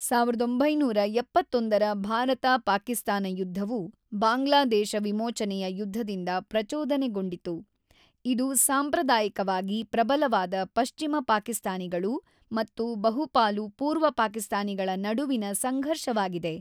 ೧೯೭೧ ರ ಭಾರತ-ಪಾಕಿಸ್ತಾನ ಯುದ್ಧವು ಬಾಂಗ್ಲಾದೇಶ ವಿಮೋಚನೆಯ ಯುದ್ಧದಿಂದ ಪ್ರಚೋದನೆಗೊಂಡಿತು, ಇದು ಸಾಂಪ್ರದಾಯಿಕವಾಗಿ ಪ್ರಬಲವಾದ ಪಶ್ಚಿಮ ಪಾಕಿಸ್ತಾನಿಗಳು ಮತ್ತು ಬಹುಪಾಲು ಪೂರ್ವ ಪಾಕಿಸ್ತಾನಿಗಳ ನಡುವಿನ ಸಂಘರ್ಷವಾಗಿದೆ.